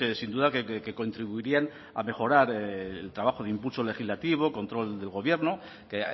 sin duda que contribuirían a mejorar el trabajo de impulso legislativo control del gobierno que